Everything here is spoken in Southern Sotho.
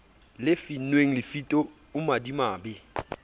le finnweng lefito o madimabe